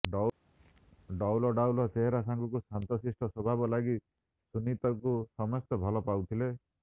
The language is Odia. ଡଉଲଡାଉଲ ଚେହେରା ସାଙ୍ଗକୁ ଶାନ୍ତଶିଷ୍ଟ ସ୍ବଭାବ ଲାଗି ସୁନିତଙ୍କୁ ସମସ୍ତେ ଭଲ ପାଉଥିଲେ